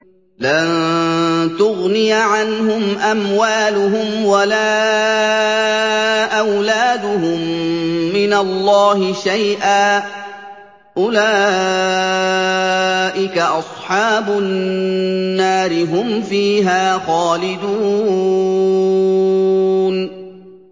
لَّن تُغْنِيَ عَنْهُمْ أَمْوَالُهُمْ وَلَا أَوْلَادُهُم مِّنَ اللَّهِ شَيْئًا ۚ أُولَٰئِكَ أَصْحَابُ النَّارِ ۖ هُمْ فِيهَا خَالِدُونَ